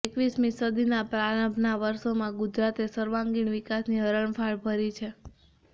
એકવીસમી સદીના પ્રારંભના વર્ષોમાં ગુજરાતે સર્વાંગીણ વિકાસની હરણફાળ ભરી છે